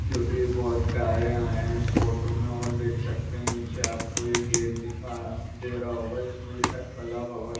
जो कि बहुत प्यारे आये है इस फोटो मे और देख सकते है नीचे आपको एक गेट दिखा दे रहा होगा जिसमें लिखा है कला भवन।